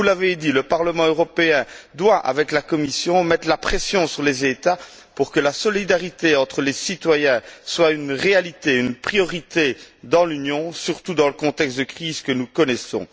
Comme vous l'avez dit, le Parlement européen doit, avec la Commission, mettre la pression sur les États pour que la solidarité entre les citoyens soit une réalité, une priorité dans l'Union, surtout dans le contexte de crise que nous connaissons.